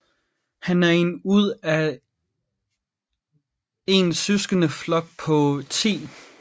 Han er en ud af en søskende flok på 10